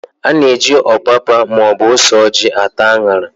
A na-eji ọpapa maọbụ ose ojị ata an̄ara.